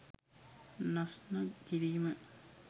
නස්න කිරීම